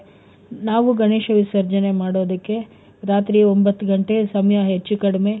ನಾವು ಗಣೇಶ ವಿಸರ್ಜನೆ ಮಾಡೋದಕ್ಕೆ ರಾತ್ರಿ ಒಂಬತ್ತು ಗಂಟೆ ಸಮಯ ಹೆಚ್ಚು ಕಡಿಮೆ,